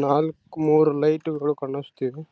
ನಾವು ಕುತ್ರೆ ಒಂದೂರಿಂದ ಎಲ್ಲಿ ಹೋಗಬೇಕು ಅಲ್ಲಿ ತಗೊಂಡು ಹೋಗಿ ಬಿಡುತ್ತೆ.